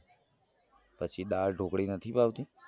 પછી દાળ ઢોકળી નથી ભાવતી